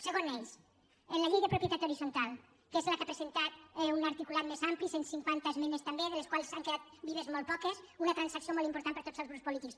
segon eix en la llei de propietat horitzontal que és la que ha presentat un articulat més ampli cent cinquanta esmenes també de les quals han quedat vives molt poques una transacció molt important per tots els grups polítics